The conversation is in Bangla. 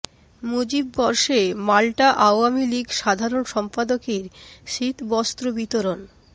মুজিব বর্ষে মাল্টা আওয়ামী লীগ সাধারণ সম্পাদকের শীত বস্ত্র বিতরণ